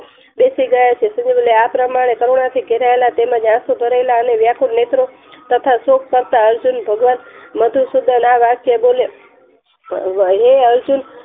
બેસી ગયા છે આ પ્રમાણે કરુણાથી ઘેરાયેલા તેમજ આખું ભરેલા અને વ્યાકુળ નેત્ર તથા સુખ કરતા અર્જુન ભગવાન મધુસુદન આ વાક્ય બોલે હે અર્જુન